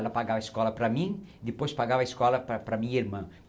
Ela pagava a escola para mim, depois pagava a escola para para a minha irmã.